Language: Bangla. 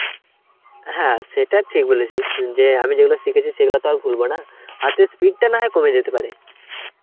হ্যাঁ সেটা ঠিক বলেছিস সে~ যে আমি যেগুলো শিখেছি সেগুলো তো আর ভুলবো না হাতের speed টা নয় কমে যেতে পারে.